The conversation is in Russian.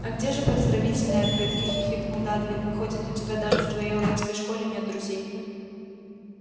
а где же поздравительные открытки хихикнул дадли выходит у тебя даже в твоей уродской школе нет друзей